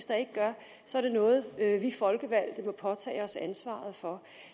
der ikke gør og så er det noget vi folkevalgte må påtage os ansvaret for